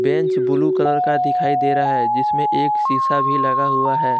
Bench blue colour का दिखाई दे रहा है जिसमें एक शीशा भी लगा हुआ है।